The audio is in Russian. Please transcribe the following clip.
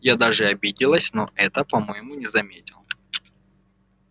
я даже обиделась но он этого по-моему не заметил